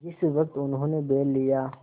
जिस वक्त उन्होंने बैल लिया